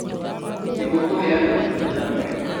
Nĩguo kũheana ũtungata mwega